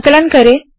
संकलन करे